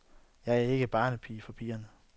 Jeg er ikke barnepige for pigerne.